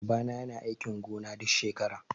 Baba na yana aikin gona duk shekara